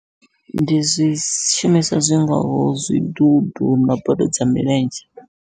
Ndi zwishumiswa zwi ngaho zwidudu na bodo dza milenzhe.